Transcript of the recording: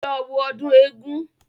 Lọ wo ọdún eégún